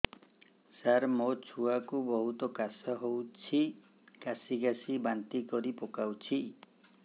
ସାର ମୋ ଛୁଆ କୁ ବହୁତ କାଶ ହଉଛି କାସି କାସି ବାନ୍ତି କରି ପକାଉଛି